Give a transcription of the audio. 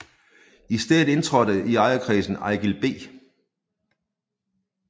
I stedet indtrådte i ejerkredsen Eigild B